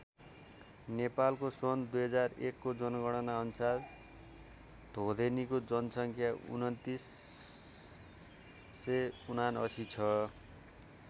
नेपालको सन् २००१ को जनगणना अनुसार धोदेनीको जनसङ्ख्या २९७९ छ।